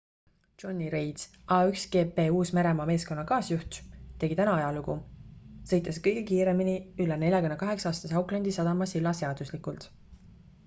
jonny reid a1gp uus-meremaa meeskonna kaasjuht tegi täna ajalugu sõites kõige kiiremini üle 48-aastase aucklandi sadama silla seaduslikult